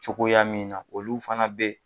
Cogoya min na olu fana bɛ